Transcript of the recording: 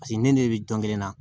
Paseke ne n'e bɛ jɔn kelen na